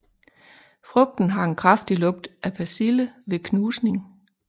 Frugten har en kraftig lugt af persille ved knusning